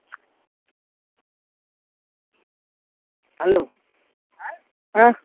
helo আহ হম